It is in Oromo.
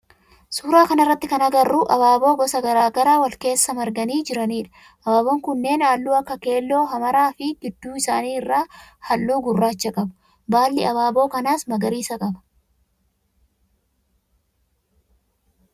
Suuraa kana irratti kan agarru abaaboo gosa garaa garaa wal keessa marganii jiranidha. Abaaboon kunneen halluu akka keelloo, hamara fi gidduu isaanii irraa halluu gurraacha qabu. Baalli abaaboo kanaa magariisa qaba.